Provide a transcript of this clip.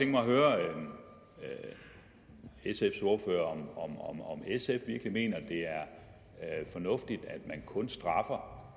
mig at høre sfs ordfører om sf virkelig mener at det er fornuftigt at man kun straffer